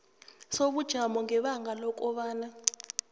sobujamo ngebanga lokobana